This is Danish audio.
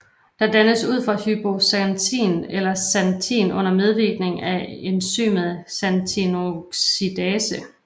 Den dannes ud fra hypoxantin eller Xanthin under medvirkning af enzymet xantinoxidase